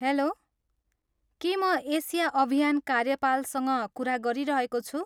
Hello, के म Asia अभियान कार्यपालसँग कुरा गरिरहेको छु?